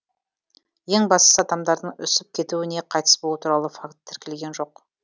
ең бастысы адамдардың үсіп кетуі не қайтыс болуы туралы факті тіркелген жоқ